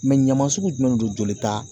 ɲaman sugu jumɛn de don jolita